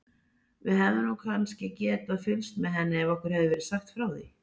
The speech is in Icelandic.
Við hefðum nú kannski getað fylgst með henni ef okkur hefði verið sagt frá því.